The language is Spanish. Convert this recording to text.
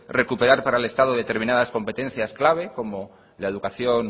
recuperar para el estado determinadas competencias claves como la educación